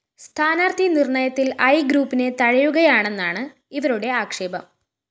സ്ഥാനാര്‍ത്ഥി നിര്‍ണ്ണയത്തില്‍ ഐ ഗ്രൂപ്പിനെ തഴയുകയാണെന്നാണ് ഇവരുടെ ആക്ഷേപം